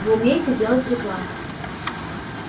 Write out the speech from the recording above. вы умеете делать рекламу